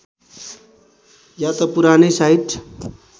या त पुरानै साइट